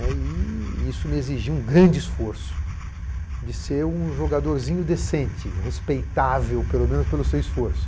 E isso me exigia um grande esforço de ser um jogadorzinho decente, respeitável pelo menos pelo seu esforço.